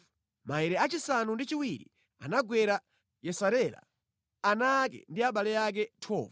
Maere achisanu ndi chiwiri anagwera Yesarela, ana ake ndi abale ake. 12